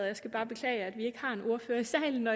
jeg skal bare beklage at vi ikke har en ordfører i salen